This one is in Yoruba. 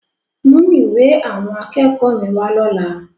Mú ìwé àwọn akẹ́kọ̀ọ́ mi wá lọ́la!